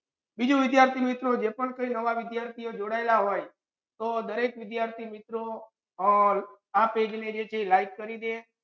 બીજુ વિદ્યાર્થિ મિત્રો જે પણ પહેલી આમા વિદ્યાર્થિયો જોડાયલા હોય તે દરેક વિદ્યાર્થિ મિત્રો all આ page ને કે like કરી દો.